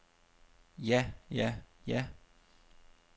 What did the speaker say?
ja ja ja